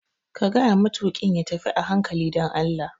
Ka gayawa matuƙin ya tafi a hankali dan Allah!